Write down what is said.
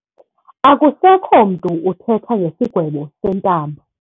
Akusekho mntu uthetha ngesigwebo sentambo.